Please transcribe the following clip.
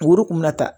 Dugu kun bɛ na ta